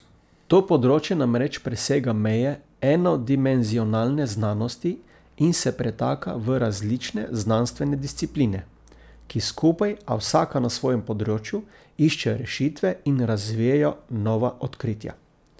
To področje namreč presega meje enodimenzionalne znanosti in se pretaka v različne znanstvene discipline, ki skupaj, a vsaka na svojem področju, iščejo rešitve in razvijajo nova odkritja.